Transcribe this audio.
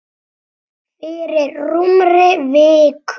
Fyrir rúmri viku.